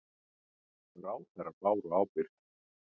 Ráðherrar báru ábyrgð